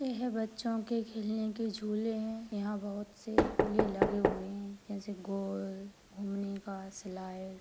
यह बच्चो के खेलने के झूले हैं यहाँ बहुत से झूले लगे हुए है जैसे गोल घूमने का स्लाईड। --